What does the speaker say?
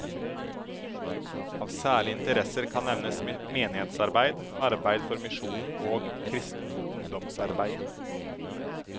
Av særlige interesser kan nevnes menighetsarbeid, arbeid for misjonen og kristent ungdomsarbeid.